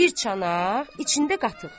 Bir çanaq içində qatıq.